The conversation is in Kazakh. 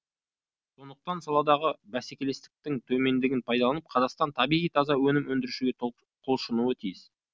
сондықтан саладағы бәсекелестіктің төмендігін пайдаланып қазақстан табиғи таза өнім өндіруге құлшынуы тиіс